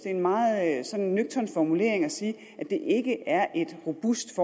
er en meget sådan nøgtern formulering at sige at det ikke er et robust